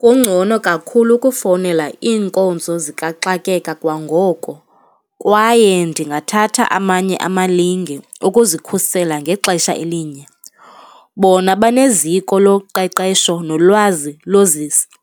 Kungcono kakhulu ukufowunela iinkonzo zikaxakeka kwangoko kwaye ndingathatha amanye amalinge ukuzikhusela ngexesha elinye, bona baneziko loqeqesho nolwazi